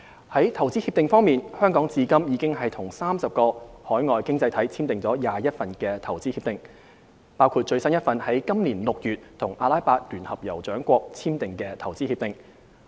在投資協定方面，香港至今已與30個海外經濟體簽訂了21份投資協定，包括最新一份於今年6月與阿拉伯聯合酋長國簽訂的投資協定。